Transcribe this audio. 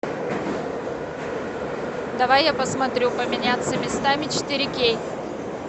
давай я посмотрю поменяться местами четыре кей